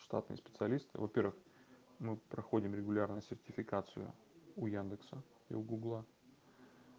штатные специалисты во-первых мы проходим регулярно сертификацию у яндекса и у гугла